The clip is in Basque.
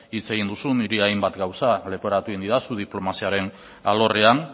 hitz egin duzu niri hainbat gauza leporatu egin didazu diplomaziaren alorrean